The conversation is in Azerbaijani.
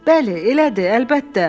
Bəli, elədir, əlbəttə.